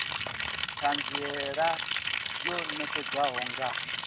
t hanziela yo nekedzwaho nga